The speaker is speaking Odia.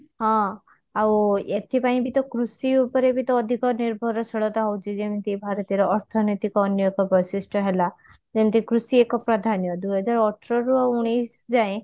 ହଁ ଆଉ ଏଥିପାଇଁ ବି ତ କୃଷି ଉପରେ ବି ତ ଅଧିକ ନିର୍ଭର ଶୀଳତା ହଉଛି ଯେମିତି ଭାରତର ଅର୍ଥନୈତିକ ଅନ୍ୟ ଏକ ବୈଶିଷ୍ଟ ହେଲା ଯେମିତି କୃଷି ଏକ ପ୍ରାଧାନ୍ୟ ଦୁଇ ହଜାର ଅଠର ରୁ ଉଣେଇଶ ଯାଏଁ